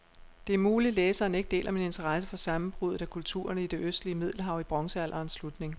Det er muligt, læseren ikke deler min interesse for sammenbruddet af kulturerne i det østlige middelhav i bronzealderens slutning.